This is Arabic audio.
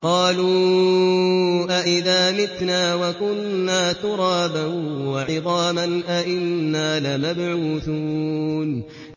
قَالُوا أَإِذَا مِتْنَا وَكُنَّا تُرَابًا وَعِظَامًا أَإِنَّا لَمَبْعُوثُونَ